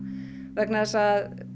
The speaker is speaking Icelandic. vegna þess að